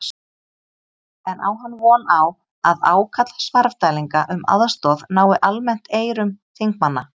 En á hann von á að ákall Svarfdælinga um aðstoð nái almennt eyrum þingmanna?